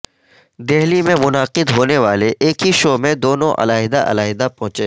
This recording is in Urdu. دہلی میں منعقد ہونے والے ایک ہی شو میں دونوں علیحدہ علیحدہ پہنچے